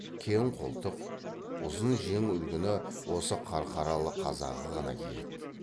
кең қолтық ұзын жең үлгіні осы қарқаралы қазағы ғана киеді